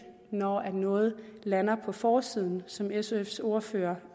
når noget lander på forsiden som sfs ordfører